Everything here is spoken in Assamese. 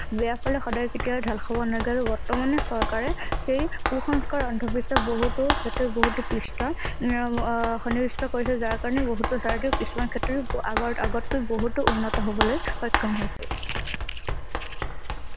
বেয়া পালে সদায় কেতিয়াও ঢাল খাব নাগ আৰু বৰ্তমানে চৰকাৰে সেই কুসংস্কাৰ অন্ধ বিশ্বাস বহুতো ক্ষেত্ৰত বহুতো পিছ হোৱা । উম আহ সন্নিবিষ্ট কৰিছে যাৰ কাৰণে বহুতো যাৰ কিছুমান ক্ষেত্ৰত আগৰআগতকৈ বহুতো উন্নত হবলৈ সক্ষম হৈছে ।